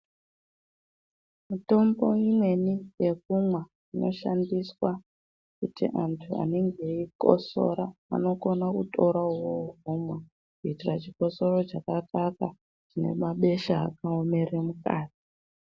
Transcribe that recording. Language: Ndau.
Mitombo imweni yekumwa inoshandiswa kuti antu anenge eikotsora anokona kutora uwowo omwa kuitira chikosoro chakakakwa nemabesha akaomera mukati .